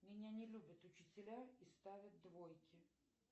меня не любят учителя и ставят двойки